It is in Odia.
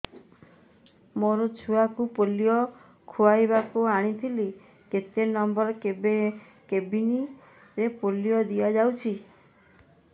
ମୋର ଛୁଆକୁ ପୋଲିଓ ଖୁଆଇବାକୁ ଆଣିଥିଲି କେତେ ନମ୍ବର କେବିନ ରେ ପୋଲିଓ ଦିଆଯାଉଛି